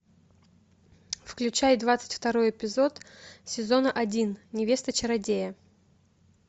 включай двадцать второй эпизод сезона один невеста чародея